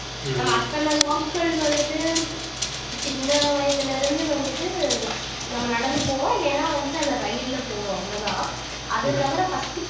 நம்ம அத்தனை நாட்கள் வந்துட்டு சின்ன வயதுல இருந்து வந்துட்டு நம்ம நடந்து போவோம் இல்லைன்னா வந்துட்டு அந்த ரயில்ல போவோம் அவ்வளவுதான் அது தவிர first